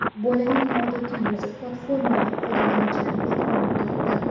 Bolaning noodatiy yuzi platforma foydalanuvchilari e’tiborini tortdi.